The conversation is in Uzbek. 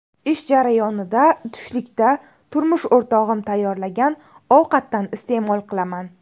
Ish jarayonida tushlikda turmush o‘rtog‘im tayyorlagan ovqatdan iste’mol qilaman.